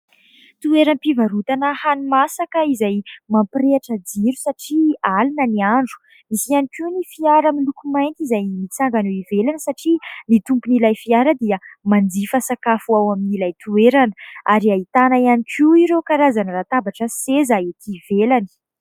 Toera-mpivarotana hanina masaka izay mampirehitra jiro satria alina ny andro, nisy ihany koa ny fiara miloko mainty izay mitsangana eo ivelany satria ny tompon'ilay fiara dia manjifa sakafo ao amin'ilay toerana, ary ahitana ihany koa ireo karazany latabatra sy seza ety ivelany.